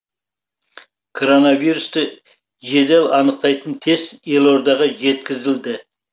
коронавирусты жедел анықтайтын тест елордаға жеткізілді